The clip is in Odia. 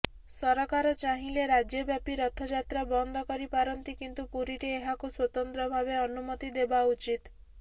ସରକାର ଚାହିଁଲେ ରାଜ୍ୟବ୍ୟାପୀ ରଥଯାତ୍ରା ବନ୍ଦ କରିପାରନ୍ତି କିନ୍ତୁ ପୁରୀରେ ଏହାକୁ ସ୍ୱତନ୍ତ୍ର ଭାବେ ଅନୁମତି ଦେବା ଉଚିତ୍